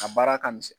A baara ka misɛn